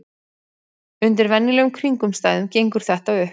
Undir venjulegum kringumstæðum gengur þetta upp.